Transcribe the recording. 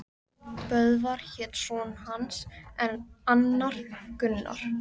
Böðvar hét son hans en annar Gunnar.